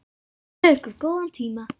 Gefið ykkur góðan tíma.